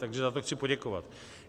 Takže za to chci poděkovat.